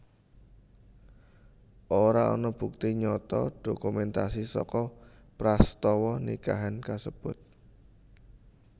Ora ana bukti nyata dokumentasi saka prastawa nikahan kasebut